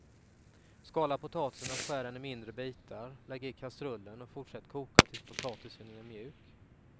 Skala potatisen och skär den i mindre bitar, lägg i kastrullen och fortsätt koka tills potatisen är mjuk.